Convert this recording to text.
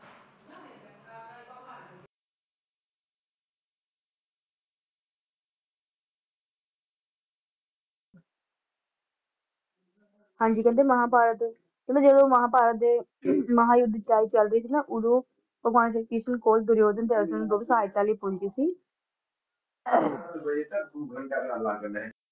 ਹਾਂਜੀ ਕਹਿੰਦੇ ਮਹਾਭਾਰਤ ਕਹਿੰਦੇ ਜਾਂਦੀ ਮਹਾਭਾਰਤ ਦੇ ਮਹਾ ਯੁੱਧ ਚਲ~ਚਲ ਰਹੇ ਸੀ ਨਾ ਓਦੋ ਭਗਵਾਨ ਸ਼੍ਰੀ ਕ੍ਰਿਸ਼ਨ ਕੋਲ ਦੁਰਯੋਧਨ ਸਹਾਇਤਾ ਲਈ ਪਹੁੰਚੇ ਸੀ।